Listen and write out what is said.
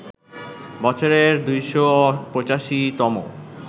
বছরের ২৮৫ তম